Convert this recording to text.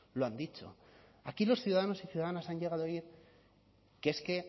lo han dicho aquí los ciudadanos y ciudadanas han llegado a oír que es que